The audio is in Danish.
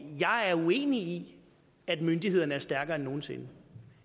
jeg er uenig i at myndighederne er stærkere end nogen sinde